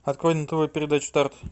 открой на тв передачу старт